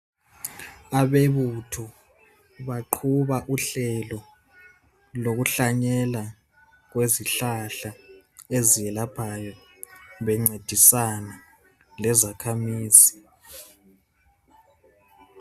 Abebutho baqhuba uhlelo lokuhlanyela kwezihlahla eziyelaphayo bencedisana lezakhamizi.